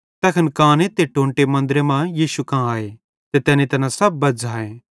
तैखन काने ते टोंटे मन्दरे मां यीशु कां आए ते तैनी तैना सब बज़्झ़ाए